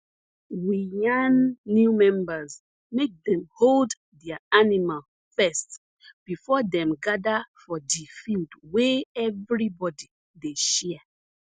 we yan new members make dem hold their animal first before dem gada for di field wey everybody dey share